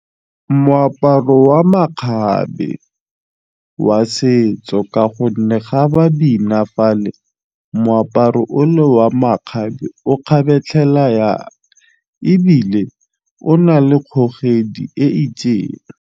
Moaparo wa makgabe wa setso ka gonne ga ba bina fale moaparo ole wa makgabe o kgabetlhela ya ebile o na le kgogedi e itseng.